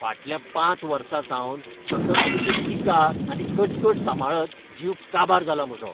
फाटल्या पांच वर्सांसावन सतत तुजी टिकाआनी कटकट सांबाळत जीव काबार जाला म्हजो.